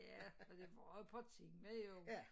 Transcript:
Ja og det var på tema jo